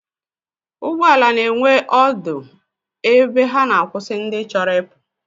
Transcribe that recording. Ụgbọala na-enwe ọdụ ebe ha na-akwụsị ndị chọrọ ịpụ